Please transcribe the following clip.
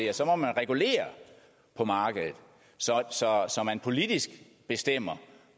at så må man regulere på markedet så man politisk bestemmer